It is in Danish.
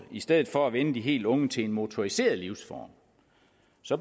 i stedet for at vænne de helt unge til en motoriseret livsform